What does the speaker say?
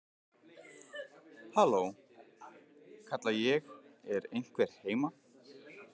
Halló, kalla ég, er einhver heima?